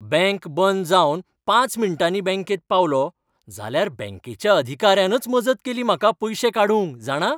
Bank बंद जावन पांच मिण्टांनी बँकेंत पावलों जाल्यार बँकेच्या अधिकाऱ्यानच मजत केली म्हाका पयशे काडूंक, जाणा!